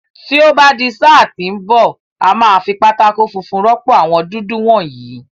Tí ó bá di sáà tí ń bọ̀, a máa fi pátákó funfun rọ́pò àwọn dúdú wọ̀nyìí.